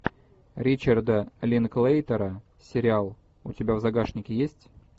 ричарда линклейтера сериал у тебя в загашнике есть